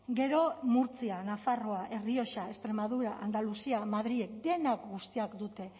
gero murtzia nafarroa errioxa extremadura andaluzia madril denak guztiak dute